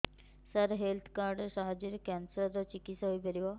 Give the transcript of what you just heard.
ସାର health card ସାହାଯ୍ୟରେ cancer ର ଚିକିତ୍ସା ହେଇପାରିବ